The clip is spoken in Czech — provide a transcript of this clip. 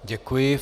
Děkuji.